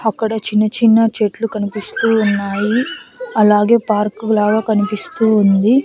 అక్కడ చిన్న చిన్న చెట్లు కనిపిస్తూ ఉన్నాయి అలాగే పార్క్ లాగా కనిపిస్తూ ఉంది.